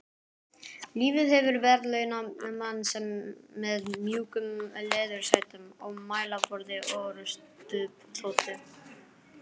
Lífið hefur verðlaunað mann með mjúkum leðursætum og mælaborði orrustuþotu.